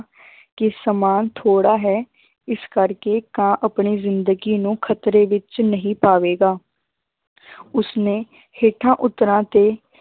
ਕਿ ਸਮਾਂ ਥੋੜ੍ਹਾ ਹੈ ਇਸ ਕਰਕੇ ਕਾਂ ਆਪਣੀ ਜ਼ਿੰਦਗੀ ਨੂੰ ਖ਼ਤਰੇ ਵਿੱਚ ਨਹੀਂ ਪਾਵੇਗਾ ਉਸਨੇ ਹੇਠਾਂ ਉਤਰਾਂ ਤੇ